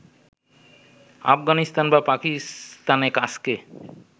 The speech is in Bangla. আফগানিস্তান বা পাকিস্তানে কাজকে